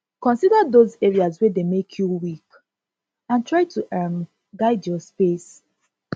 consider those areas wey dey make you weak and try to um guide your space